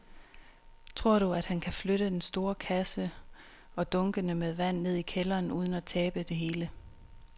Tror du, at han kan flytte den store kasse og dunkene med vand ned i kælderen uden at tabe det hele?